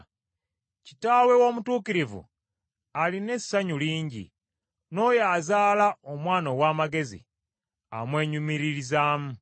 Kitaawe w’omutuukirivu alina essanyu lingi, n’oyo azaala omwana ow’amagezi amwenyumiririzaamu.